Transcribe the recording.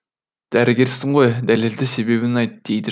дәрігерсің ғой дәлелді себебін айт дейді